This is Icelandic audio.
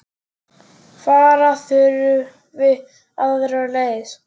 Fara þurfi aðra leið.